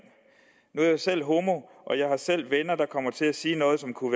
nu er jeg selv homo og jeg har selv venner der kommer til at sige noget som kunne